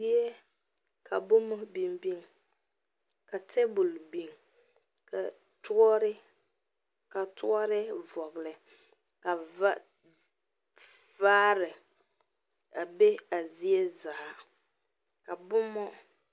Zie ka boma biŋ biŋ ka tabol biŋ ka toɔre vɔgeli ka vaare a be a zie zaa.